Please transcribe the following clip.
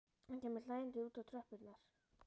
Hann kemur hlæjandi út á tröppurnar.